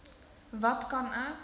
wat kan ek